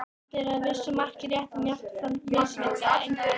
Þetta er að vissu marki rétt en jafnframt misvísandi einföldun.